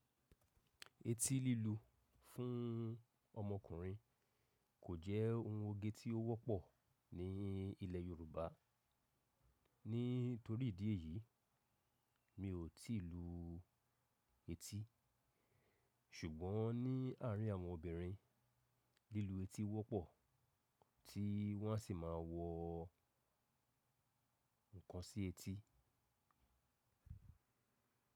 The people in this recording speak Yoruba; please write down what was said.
Etí lílu fún ọmọkùnrin kò jẹ́ ohun oge tí ó wọ́pọ̀ ní ilẹ̀ Yorùbá. Nítorí ìdí èyí, mi ò tí ì lu etí. Ṣùgbọ́n ní àárín àwọn obìnrin, lílu etí wọ́pọ̀ tí wọ́n á sì máa wọ nǹkan sí etí.